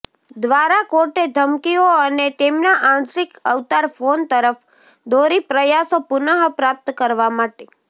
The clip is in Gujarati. દ્વારા કોર્ટ ધમકીઓ અને તેમના આંશિક અવતાર ફોન તરફ દોરી પ્રયાસો પુનઃપ્રાપ્ત કરવા માટે